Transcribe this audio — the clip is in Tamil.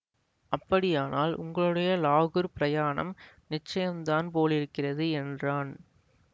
அப்படியானால் உங்களுடைய லாகூர்ப் பிரயாணம் நிச்சயந்தான் போலிருக்கிறது என்றான்